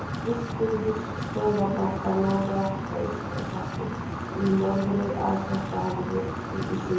Austurvígstöðvarnar: Þær náðu allt frá Eystrasalti í norðri að Svartahafi í suðri.